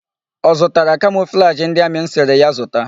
Ọ zụtara kamọflajị ndị amị m sịrị ya zụta?